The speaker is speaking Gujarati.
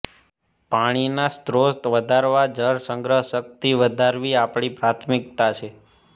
પાણીના સ્ત્રોત વધારવા જળસંગ્રહ શકિત વધારવી આપણી પ્રાથમિકતા છે